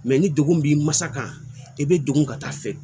ni degun b'i ma sa kan i bɛ degun ka taa fɛ